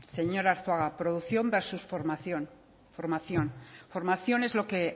señor arzuaga producción versus formación formación es lo que